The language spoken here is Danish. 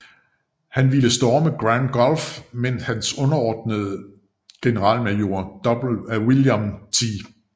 Han ville storme Grand Gulf mens hans underordnede generalmajor William T